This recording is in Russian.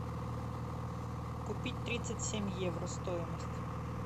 купить тридцать семь евро стоимость